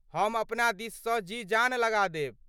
हम अपना दिससँ जी जान लगा देब।